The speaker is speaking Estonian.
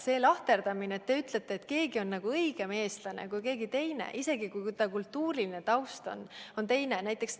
See lahterdamine, et keegi on õigem eestlane kui keegi teine, isegi kui ta kultuuriline taust on teine ...